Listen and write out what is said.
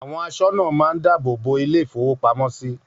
Àwọn aṣọ́nà máa ń dáàbò bo ilé-ìfowópamọ́sí.